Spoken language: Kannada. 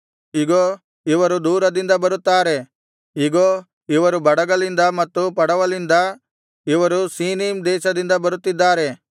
ಇಗೋ ಇವರು ದೂರದಿಂದ ಬರುತ್ತಾರೆ ಇಗೋ ಇವರು ಬಡಗಲಿಂದ ಮತ್ತು ಪಡವಲಿಂದ ಇವರು ಸೀನೀಮ್ ದೇಶದಿಂದ ಬರುತ್ತಿದ್ದಾರೆ